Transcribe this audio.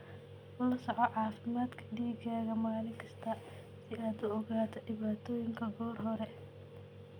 La soco caafimaadka digaagga maalin kasta si aad u ogaato dhibaatooyinka goor hore.